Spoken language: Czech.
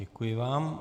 Děkuji vám.